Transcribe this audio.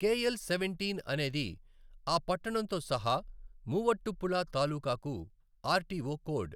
KL seventeen అనేది ఆ పట్టణంతో సహా మూవట్టుపుళా తాలూకాకు ఆర్టీఓ కోడ్.